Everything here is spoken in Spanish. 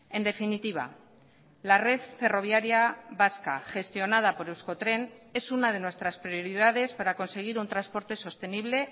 en definitiva la red ferroviaria vasca gestionada por euskotren es una de nuestras prioridades para conseguir un transporte sostenible